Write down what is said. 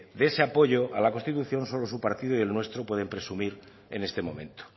de ese apoyo a la constitución solo su partido y el nuestro pueden presumir en este momento